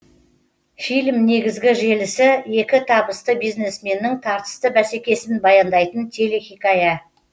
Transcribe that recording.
фильм негізгі желісі екі табысты бизнесменнің тартысты бәсекесін баяндайтын телехикая